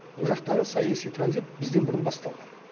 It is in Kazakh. ол жақтағы саяси транзит бізден бұрын басталған